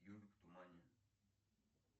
ежик в тумане